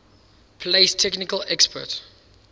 place technical experts